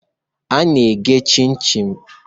A na-eghe chim-chim.